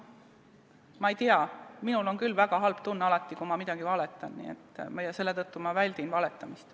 Ma ei tea, minul on küll alati väga halb tunne, kui ma valetan, selle tõttu ma väldin valetamist.